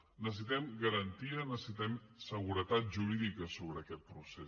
necessitem garantia necessitem seguretat jurídica sobre aquest procés